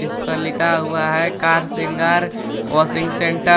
इसपर लिखा हुआ है कार शृंगार वाशिंग सेंटर ।